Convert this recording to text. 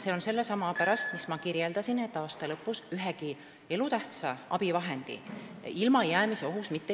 See on sellelsamal põhjusel, mis ma kirjeldasin, et aasta lõpus ei oleks mitte keegi ühestki elutähtsast abivahendist ilma jäämise ohus.